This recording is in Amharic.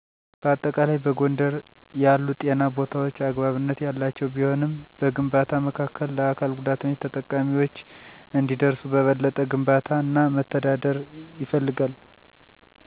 በአጠቃላይ፣ በጎንደር ያሉ ጤና ቦታዎች አግባብነት ያላቸው ቢሆንም፣ በግንባታ መካከል ለአካል ጉዳተኞች ተጠቃሚዎች እንዲደርሱ በበለጠ ግንባታ እና መተዳደር ይፈልጋል።